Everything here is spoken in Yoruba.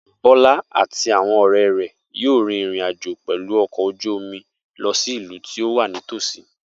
Bola àti àwọn ọ̀rẹ́ rẹ̀ yóò rin ìrìn àjò pẹ̀lú ọkọ̀ ojú omi lọ sí ìlú tó wà nítòsí.